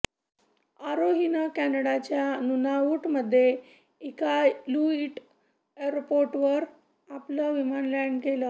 आरोहीनं कॅनाडाच्या नुनावुटमध्ये इकालुइट एअरपोर्टवर आपलं विमान लॅंड केलं